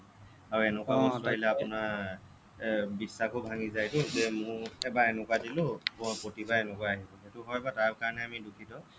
আৰু এনেকুৱা বস্তু আহিলে আপোনাৰ এৰ বিশ্বাস ভাঙি যায় টো যে মোৰ এবাৰ এনেকুৱা দিলো মই প্ৰতিবাৰে এনেকুৱাই আহিছে সেইটো হ'য় বাৰু তাৰ কাৰণে আমি দুখিত